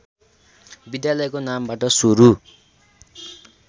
विद्यालयको नामबाट सुरू